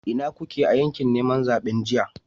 Ina kuke a yakin neman zaben jiya?